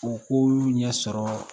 U k'olu ɲɛ sɔrɔ